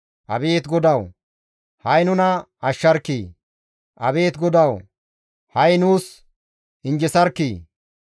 Abeet GODAWU! Ha7i nuna ashsharkkii! Abeet GODAWU! Ha7i nuus injjesarkkii!